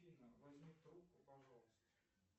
афина возьми трубку пожалуйста